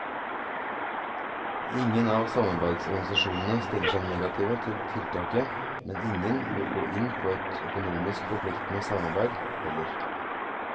Ingen av samarbeidsorganisasjonene stiller seg negative til tiltaket, men ingen vil gå inn på et økonomisk forpliktende samarbeid heller.